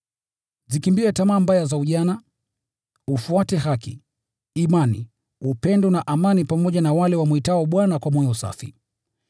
Zikimbie tamaa mbaya za ujana, ufuate haki, imani, upendo na amani pamoja na wale wamwitao Bwana kwa moyo safi.